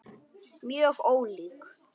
Mjög ólík.